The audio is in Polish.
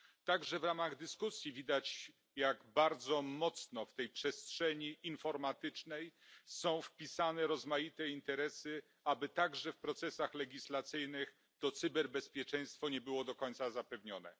Także w ramach dyskusji widać, jak bardzo mocno w tej przestrzeni informatycznej są wpisane rozmaite interesy, aby także w procesach legislacyjnych cyberbezpieczeństwo nie było do końca zapewnione.